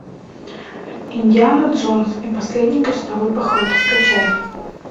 индиана джонс и последний крестовый поход скачай